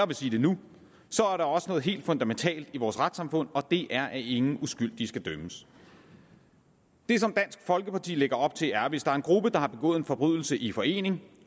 vil sige det nu er der også noget helt fundamentalt i vores retssamfund og det er at ingen uskyldige skal dømmes det som dansk folkeparti lægger op til er at hvis der er en gruppe der har begået en forbrydelse i forening